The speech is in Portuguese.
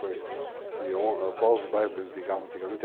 Qual os bairros que eles ligavam antigamente?